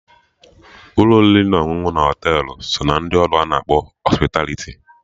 Ụlọ oriri na ọṅụṅụ na Họtelụ so ná ndị ọrụ ana akpọ Hospitaliti